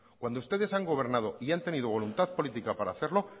cuando ustedes han gobernado y han tenido voluntad política para hacerlo